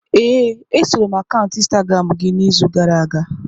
Ee, esoro m akaụntụ Instagramu gị n'izu gara aga.